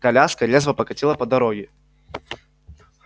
коляска резво покатила по дороге